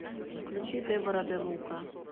включи дебора де лука